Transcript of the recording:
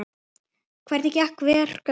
Hvernig verka, Lárus?